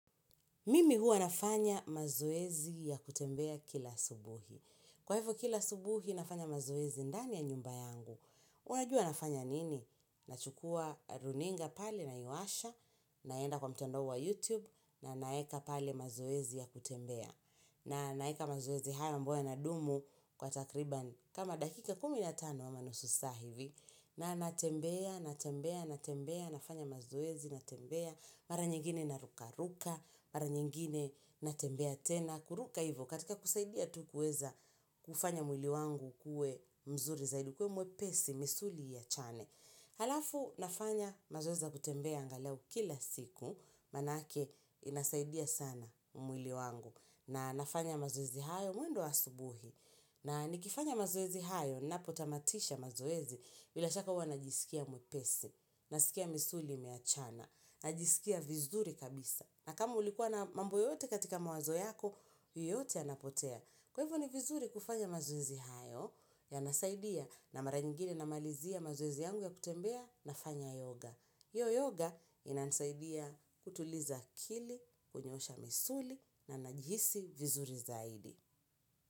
Mimi huwa nafanya mazoezi ya kutembea kila asubuhi. Kwa hivyo kila subuhi nafanya mazoezi ndani ya nyumba yangu. Unajua nafanya nini? Nachukua runinga pale naiwasha, naenda kwa mtandaowa YouTube, na naeka pale. Mazoezi ya kutembea. Na naeka mazoezi haya ambayo yanadumu kwa takriban kama dakika kumi na tano ama nusu saa hivi. Na natembea, natembea, natembea, nafanya mazoezi, natembea, Mara nyingine narukaruka, mara nyingine natembea tena, kuruka hivyo katika kusaidia tu kueza kufanya mwili wangu uwe mzuri zaidi ukue mwepesi misuli iachane. Halafu nafanya mazoezi za kutembea angalau kila siku, manake inasaidia sana mwili wangu na nafanya mazoezi hayo mwendo wa asubuhi. Na nikifanya mazoezi hayo, napotamatisha mazoezi, bila shaka huwa najisikia mwepesi, nasikia misuli imeachana, najisikia vizuri kabisa. Na kama ulikuwa na mambo yote katika mawazo yako, yote yanapotea. Kwa hivyo ni vizuri kufanya mazoezi hayo, yanasaidia na mara nyingine namalizia mazoezi yangu ya kutembea nafanya yoga. Hiyo yoga inanisaidia kutuliza akili, kunyoosha misuli na najihisi vizuri zaidi.